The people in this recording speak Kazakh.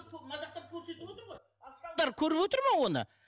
көріп отыр ма оны